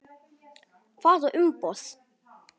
Hvaða umboð?